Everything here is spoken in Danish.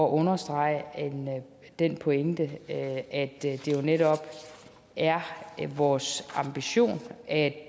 understrege den pointe at det jo netop er vores ambition at